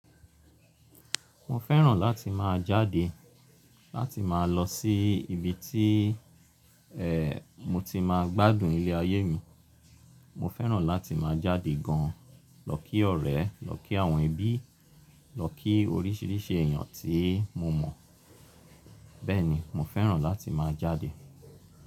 Mo fẹ́ràn láti máa jáde, láti máa lọ sí ibi tí e, mo ti máa gbádùn ilé ayé mi. Mo fẹ́ràn láti máa jáde gan lọ kí ọ̀rẹ́, lọ kí àwọn ẹbí, lọ kí oríṣìíríṣìí èèyàn tí mo mọ̀. Bẹ́ẹ̀ni mo fẹ́ràn láti máa jáde.